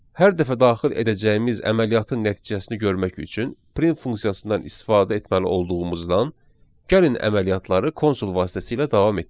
Hər dəfə daxil edəcəyimiz əməliyyatın nəticəsini görmək üçün print funksiyasından istifadə etməli olduğumuzdan, gəlin əməliyyatları konsul vasitəsilə davam etdirək.